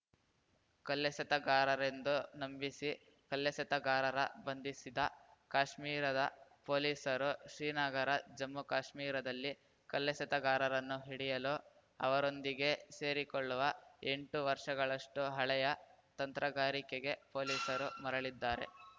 ಕಲ್ಲೆಸೆತಗಾರರೆಂದು ನಂಬಿಸಿ ಕಲ್ಲೆಸೆತಗಾರರ ಬಂಧಿಸಿದ ಕಾಶ್ಮೀರದ ಪೊಲೀಸರು ಶ್ರೀನಗರ ಜಮ್ಮುಕಾಶ್ಮೀರದಲ್ಲಿ ಕಲ್ಲೆಸೆತಗಾರರನ್ನು ಹಿಡಿಯಲು ಅವರೊಂದಿಗೇ ಸೇರಿಕೊಳ್ಳುವ ಎಂಟು ವರ್ಷಗಳಷ್ಟುಹಳೆಯ ತಂತ್ರಗಾರಿಕೆಗೆ ಪೊಲೀಸರು ಮರಳಿದ್ದಾರೆ